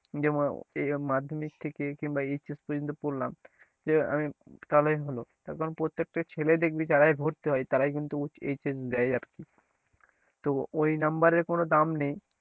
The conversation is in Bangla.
যে মানে মাধ্যমিক থেকে কিংবা HS পর্যন্ত পড়লাম যে আমি তাহলেই হলো তার কারণ প্রত্যেকটা ছেলেই দেখবি যারাই ভর্তি হয় তারাই কিন্তু HS দেয় আর কি, তো ওই number এর কোনো দাম নেই,